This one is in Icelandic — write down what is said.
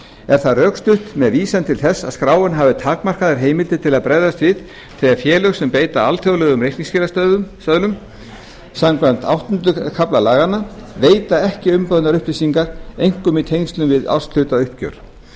er það rökstutt með vísan til þess að skráin hafi takmarkaðar heimildir til að bregðast við þegar félög sem beita alþjóðlegum reikningsskilastöðlum samkvæmt áttunda kafla laganna veita ekki umbeðnar upplýsingar einkum í tengslum við árshlutauppgjör